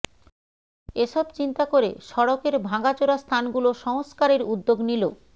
এসব চিন্তা করে সড়কের ভাঙাচোরা স্থানগুলো সংস্কারের উদ্যোগ নিল